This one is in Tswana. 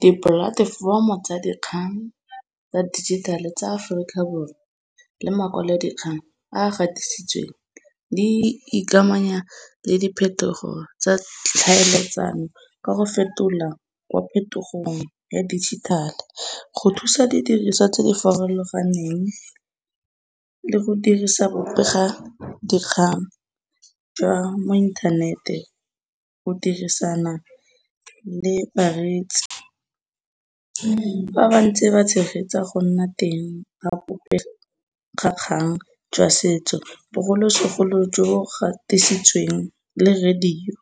Dipolatefomo tsa dikgang tsa dijithale tsa Aforika Borwa le makwalodikgang a a gatisitsweng di ikamanya le diphetogo tsa tlhaeletsano ka go fetola kwa phetogong ya digital. Go thusa didiriswa tse di farologaneng le go dirisa bobega dikgang jwa mo inthanete go dirisana le bareetsi. Fa ba ntse ba tshegetsa go nna teng ga bobegakgang jwa setso bogolosegolo jo gatisitsweng le radio